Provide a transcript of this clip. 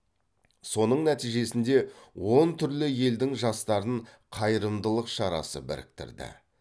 соның нәтижесінде он түрлі елдің жастарын қайырымдылық шарасы біріктірді